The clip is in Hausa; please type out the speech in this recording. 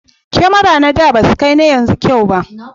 kamara na da basu kai na yanzu kyau ba